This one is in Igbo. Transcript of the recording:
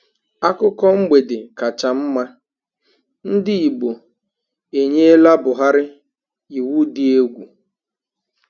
Akụkọ mgbede kacha mma: Ndị Igbo enyela Buhari iwu dị egwu